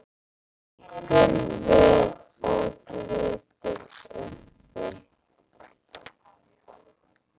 Hrekkur við og lítur upp.